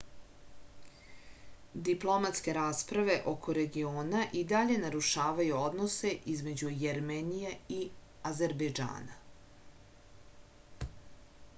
diplomatske rasprave oko regiona i dalje narušavaju odnose između jermenije i azerbejdžana